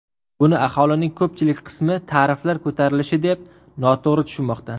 Buni aholining ko‘pchilik qismi tariflar ko‘tarilishi deb noto‘g‘ri tushunmoqda.